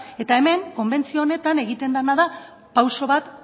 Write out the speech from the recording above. ezta eta hemen konbentzio honetan egiten dena da pausu bat